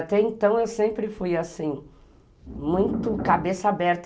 Até então eu sempre fui assim, muito cabeça aberta.